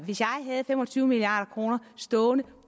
havde fem og tyve milliard kroner stående på